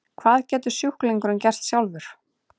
Hvað getur sjúklingurinn gert sjálfur?